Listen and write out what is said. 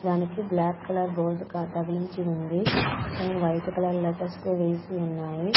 దానికి black colour board తగిలించి ఉంది దానికి వైట్ కలర్ లెటర్స్ వేసి ఉన్నాయి.